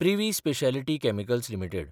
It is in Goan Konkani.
privy speciality chemicals limited